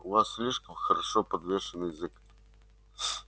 у вас слишком хорошо подвешен язык